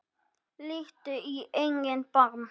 Líttu í eigin barm